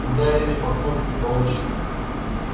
ударили по кнопке по очереди